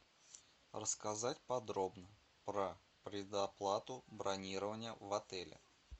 рассказать подробно про предоплату бронирования в отеле